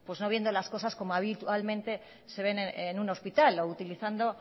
no viendo las cosas como habitualmente se ven en un hospital o utilizando